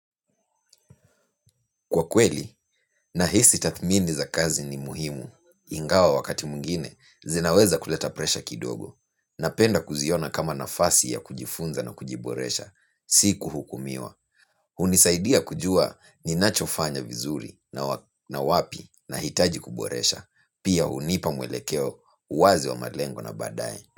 Kwa kweli, nahisi tathmini za kazi ni muhimu. Ingawa wakati mwingine, zinaweza kuleta presha kidogo. Napenda kuziona kama nafasi ya kujifunza na kujiboresha, si kuhukumiwa. Hunisaidia kujua ninachofanya vizuri na wapi nahitaji kuboresha, pia hunipa mwelekeo wazi wa malengo na baadaye.